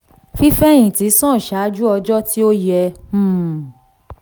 fífèhìntì: san ṣáájú ọjọ́ tí ó yẹ um